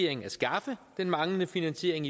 at skaffe den manglende finansiering